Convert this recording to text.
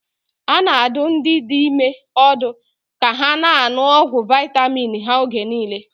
A na-adụ ndị dị ime ọdụ ka ha na-aṅụ ọgwụ vitamin ha oge niile.